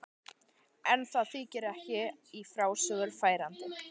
En það þykir ekki í frásögur færandi.